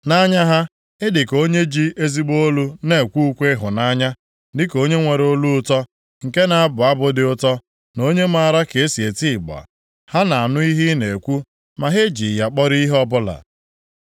Nʼanya ha, ị dịka onye ji ezigbo olu na-ekwe ukwe ịhụnanya, dịka onye nwere olu ụtọ, nke na-abụ abụ dị ụtọ, na onye maara ka e si eti ịgba. Ha na-anụ ihe ị na-ekwu ma ha ejighị ya kpọrọ ihe ọbụla.